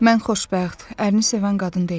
Mən xoşbəxt, ərini sevən qadın deyiləm.